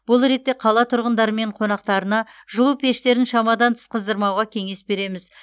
бұл ретте қала тұрғындары мен қонақтарына жылу пештерін шамадан тыс қыздырмауға кеңес береміз